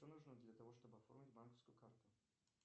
что нужно для того чтобы оформить банковскую карту